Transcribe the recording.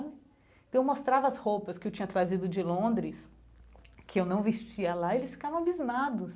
Então eu mostrava as roupas que eu tinha trazido de Londres, que eu não vestia lá, eles ficavam abismados.